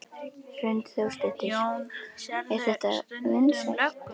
Hrund Þórsdóttir: Er þetta vinsælt?